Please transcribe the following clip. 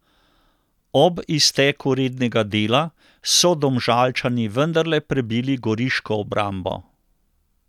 Ob izteku rednega dela so Domžalčani vendarle prebili goriško obrambo.